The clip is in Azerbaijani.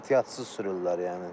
Ehtiyatsız sürürlər yəni.